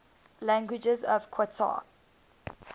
languages of qatar